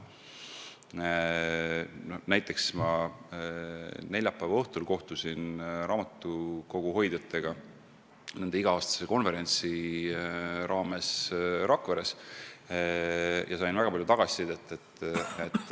Neljapäeva õhtul ma kohtusin Rakveres raamatukoguhoidjatega nende iga-aastase konverentsi raames ja sain väga palju tagasisidet.